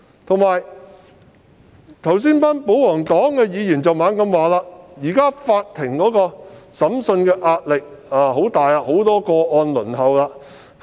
此外，保皇黨議員剛才不斷指出，現時法庭的審訊壓力很大，有很多個案正在輪候處理。